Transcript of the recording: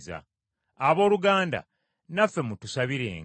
Abooluganda, naffe, mutusabirenga.